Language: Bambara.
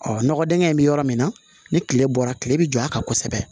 Ɔ nɔgɔ dingɛ in bɛ yɔrɔ min na ni tile bɔra tile bɛ jɔ a kan kosɛbɛ